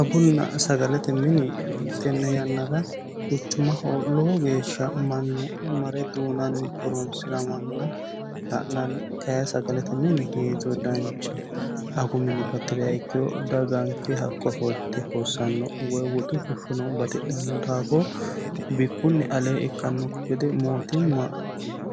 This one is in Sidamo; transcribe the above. Agunna sagalete mini tene yannara quchumaho mannu lowo geeshsha marre duuname horonsiranna la'nanni kayi sagalete mini danchaho, agu mini batiriha ikkiro hakko ofollite hossano woyi woxu fushshono batidhano daafo bikkunni aleeni ikkanokki gede mootimma